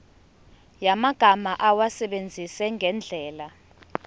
yamagama awasebenzise ngendlela